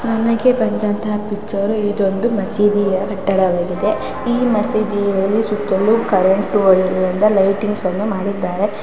ನನಗೆ ಬಂದಂತಹ ಪಿಚ್ಚರು ಇದೊಂದು ಮಸೀದಿಯ ಕಟ್ಟಡವಾಗಿದೆ ಈ ಮಸೀದಿಯಲ್ಲಿ ಸುತ್ತಲೂ ಕರೆಂಟ್ ವಯರಿನಿಂದ ಲೈಟಿಂಗ್ಸ್ ನ್ನು ಮಾಡಿದ್ದಾರೆ.